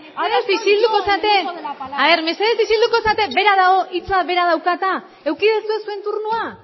mesedez isilduko zarete mesedez isilduko zarete hitza berak dauka eta eduki duzue zuen turnoa